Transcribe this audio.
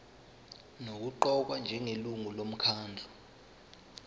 nokuqokwa njengelungu lomkhandlu